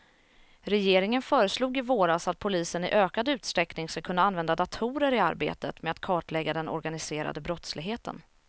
Regeringen föreslog i våras att polisen i ökad utsträckning ska kunna använda datorer i arbetet med att kartlägga den organiserade brottsligheten.